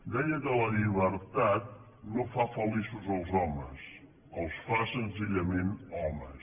deia que la llibertat no fa feliços els homes els fa senzillament homes